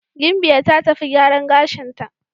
Gimbiya ta tafi gyaran gashinta.